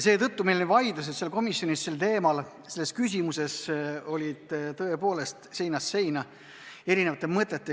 Seetõttu olid vaidlused komisjonis sellel teemal, selles küsimuses seinast seina, välja käidi erinevaid mõtteid.